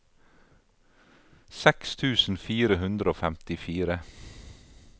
seks tusen fire hundre og femtifire